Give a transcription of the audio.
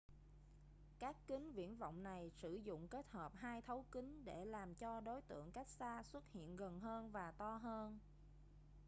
các kính viễn vọng này sử dụng kết hợp hai thấu kính để làm cho đối tượng cách xa xuất hiện gần hơn và to hơn